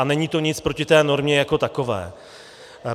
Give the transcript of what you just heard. A není to nic proti té normě jako takové.